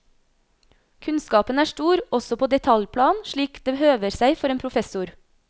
Kunnskapen er stor, også på detaljplan, slik det høver seg for en professor.